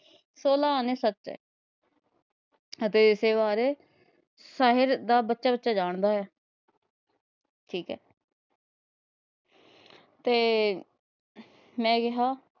ਸੋਲਾਹ੍ਹ ਆਨੇ ਸੱਚ ਏ ਅਤੇ ਇਸੇ ਵਾਰੇ ਸ਼ਹਿਰ ਦਾ ਬੱਚਾ-ਬੱਚਾ ਜਾਣਦਾ ਏ ਠੀਕ ਹੈ ਤੇ ਮੈ ਕਿਹਾ।